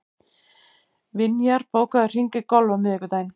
Vinjar, bókaðu hring í golf á miðvikudaginn.